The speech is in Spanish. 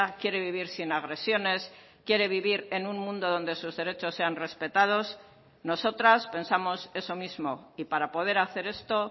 quiere vivir sin agresiones quiere vivir en un mundo donde sus derechos sean respetados nosotras pensamos eso mismo y para poder hacer esto